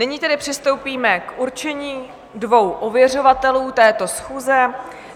Nyní tedy přistoupíme k určení dvou ověřovatelů této schůze.